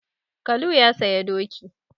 Kalu ya saya doki.